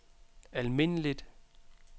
almindeligt